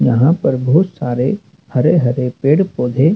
यहां पर बहोत सारे हरे हरे पेड़ पौधे--